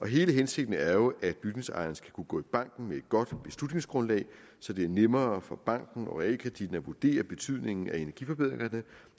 hele hensigten er jo at bygningsejeren skal kunne gå i banken med et godt beslutningsgrundlag så det er nemmere for banken og realkreditten at vurdere betydningen af energiforbedringer